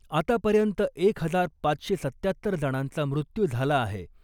आतापर्यंत एक हजार पाचशे सत्त्यात्तर जणांचा मृत्यू झाला आहे .